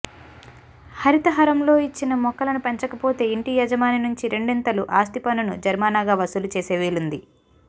హరితహారంలో ఇచ్చిన మొక్కలను పెంచకపోతే ఇంటి యజమాని నుంచి రెండింతలు ఆస్తిపన్నును జరిమానాగా వసూలు చేసే వీలుంది